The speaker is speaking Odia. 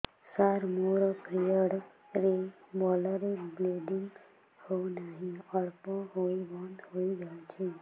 ସାର ମୋର ପିରିଅଡ଼ ରେ ଭଲରେ ବ୍ଲିଡ଼ିଙ୍ଗ ହଉନାହିଁ ଅଳ୍ପ ହୋଇ ବନ୍ଦ ହୋଇଯାଉଛି